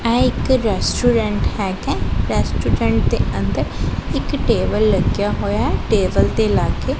ਏਹ ਇੱਕ ਰੈਸਟੂਰੈਂਟ ਹੈਗਾ ਰੈਸਟੂਰੈਂਟ ਦੇ ਅੰਦਰ ਇੱਕ ਟੇਬਲ ਲੱਗਿਆ ਹੋਇਆ ਹੈ ਟੇਬਲ ਤੇ ਲਾਕੇ।